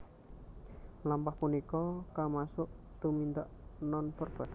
Mlampah punika kamasuk tumindak nonverbal